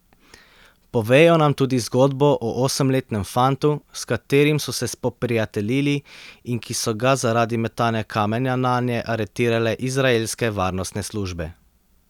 Povejo nam tudi zgodbo o osemletnem fantu, s katerim so se spoprijateljili in ki so ga zaradi metanja kamenja nanje aretirale izraelske varnostne službe.